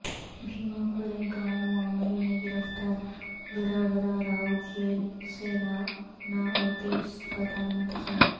بھیماکورے گاوں معاملہ میں گرفتار ورا ورا راو جیل سے ناناوتی اسپتال منتقل